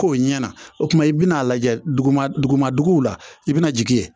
K'o ɲɛna o tuma i bɛna lajɛ dugu ma duguma duguw la i bɛna jigin ye